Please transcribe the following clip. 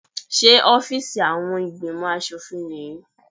Ṣé ọ́fíìsì àwọn ìgbìmò aṣòfin nìyí?